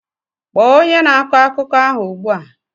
Kpọọ onye na-akọ akụkọ ahụ ugbu a!